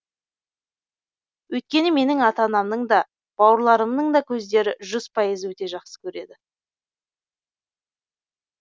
өйткені менің ата анамның да бауырларымның да көздері жүз пайыз өте жақсы көреді